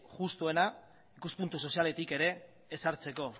justuena ikuspuntu sozialetik ere ezartzeko